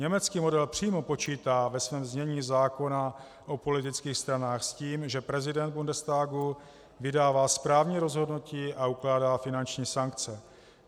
Německý model přímo počítá ve svém znění zákona o politických stranách s tím, že prezident Bundestagu vydává správní rozhodnutí a ukládá finanční sankce.